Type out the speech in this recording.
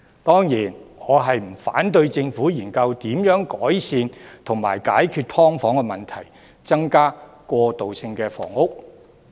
當然，我不反對政府研究如何改善及解決"劏房"問題，並增加過渡性房屋。